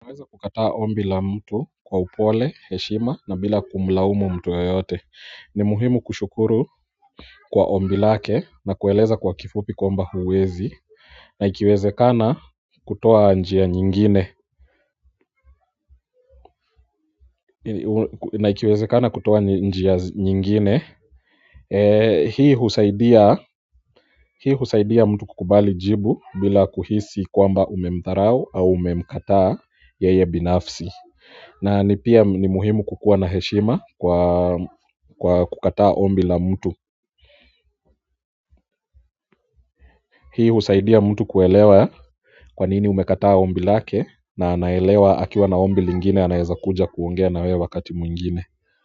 Naweza kukataa ombi la mtu kwa upole, heshima na bila kumlaumu mtu ya yote. Ni muhimu kushukuru kwa ombi lake na kueleza kwa kifupi kwamba huwezi. Naikiwezekana kutoa njia nyingine. Naikiweze kana kutoa njia nyingine. Hii husaidia mtu kukubali jibu bila kuhisi kwamba umemdharau au umemkataa yeye binafsi. Na ni pia ni muhimu kukua na heshima kwa kukataa ombi la mtu hii usaidia mtu kuelewa kwanini umekataa ombi lake na anaelewa akiwa na ombi lingine anaeza kuja kuongea na we wakati mwingine.